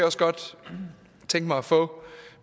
også godt tænke mig at få